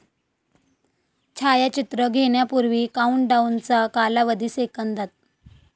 छायाचित्र घेण्यापूर्वी काउंटडाउनचा कालावधी, सेकंदात